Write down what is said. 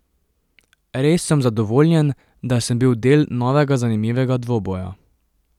Res sem zadovoljen, da sem bil del novega zanimivega dvoboja.